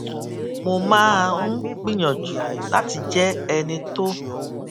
mo máa ń gbìyànjú láti jé ẹni tó